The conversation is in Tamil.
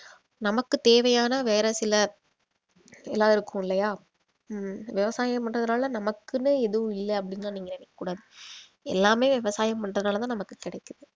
நமக்கு தேவையான வேற சில இதெல்லாம் இருக்கும் இல்லையா ஹம் விவசாயம் பண்றதுனால நமக்குன்னு எதுவும் இல்ல அப்படின்னுலாம் நீங்க நினைக்க கூடாது எல்லாமே விவசாயம் பண்றதால தான் நமக்கு கிடைக்குது